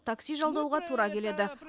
такси жалдауға тура келеді